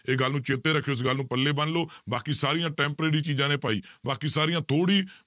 ਇਹ ਗੱਲ ਨੂੰ ਚੇਤੇ ਰੱਖਿਓ ਇਸ ਗੱਲ ਨੂੰ ਪੱਲੇ ਬੰਨ ਲਓ ਬਾਕੀ ਸਾਰੀਆਂ temporary ਚੀਜ਼ਾਂ ਨੇ ਭਾਈ ਬਾਕੀ ਸਾਰੀਆਂ ਥੋੜ੍ਹੀ